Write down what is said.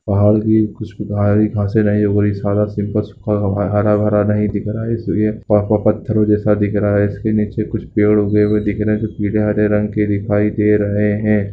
पहाड़ में कुछ अच्छे खासे दिखाई दे रहे हैं हरा भरा नहीं दिख रहा है एक पत्थरों जैसा दिख रहा है इसके नीचे कुछ पेड़ उगे हुए दिख रहे हैं कुछ चीज हरे रंग की दिखाई दे रही हैं पहाड़।